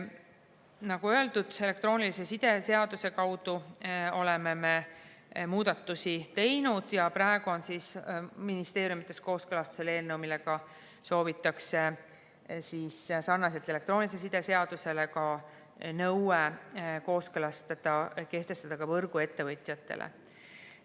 Nagu öeldud, elektroonilise side seaduse kaudu oleme muudatusi teinud ja praegu on ministeeriumides kooskõlastusel eelnõu, millega soovitakse sarnaselt elektroonilise side seadusega kehtestada nõue võrguettevõtjatele.